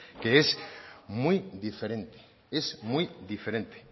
que es muy diferente es muy diferente